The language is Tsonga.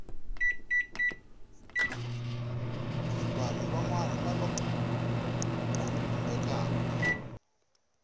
vanhu van wana lava khumbekaku